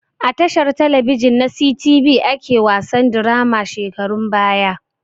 A tashar talabijin na sitibi ake wasan dirama shekarun baya